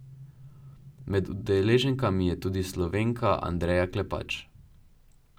Med udeleženkami je tudi Slovenka Andreja Klepač.